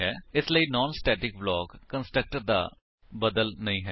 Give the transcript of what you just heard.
ਇਸ ਲਈ non static block constructor ਦਾ ਸਬਸਿਚਿਊਟ ਨਹੀਂ ਹੈ